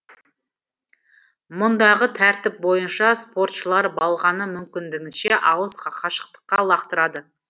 мұндағы тәртіп бойынша спортшылар балғаны мүмкіндігінше алыс қашықтыққа лақтырады